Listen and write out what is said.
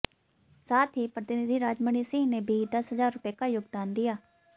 साथ ही प्रतिनिधि राजमणि सिंह ने भी दस हजार रुपये का योगदान दिया